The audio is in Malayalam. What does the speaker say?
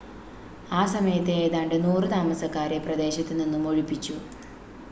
ആ സമയത്ത് ഏതാണ്ട് 100 താമസക്കാരെ പ്രദേശത്ത് നിന്നും ഒഴിപ്പിച്ചു